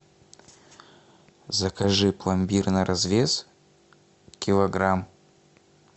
закажи пломбир на развес килограмм